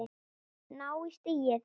Ná í stigið.